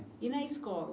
E na escola?